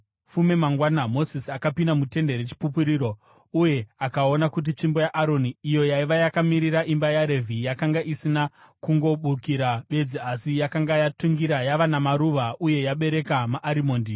Fume mangwana Mozisi akapinda muTende reChipupuriro uye akaona kuti tsvimbo yaAroni, iyo yaiva yakamirira imba yaRevhi, yakanga isina kungobukira bedzi asi yakanga yatungira, yava namaruva uye yabereka maarimondi.